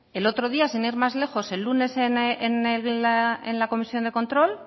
el otro día sin ir más lejos el lunes en la comisión de control